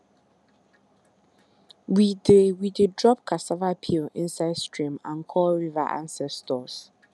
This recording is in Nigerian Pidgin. we dey we dey drop cassava peel inside stream and call river ancestors